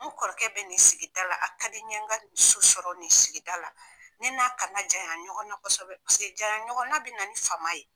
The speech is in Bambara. N kɔrɔkɛ be n'i sigi da la a ka di n ye , n ka so sɔrɔ nin sigida la . Ne n'a kana janya ɲɔgɔn na kosɛbɛ, paseke janya ɲɔgɔn na be na ni fama ye.